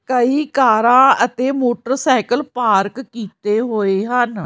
ਕਈ ਕਾਰਾ ਅਤੇ ਮੋਟਰਸਾਈਕਲ ਪਾਰਕ ਕੀਤੇ ਹੋਏ ਹਨ।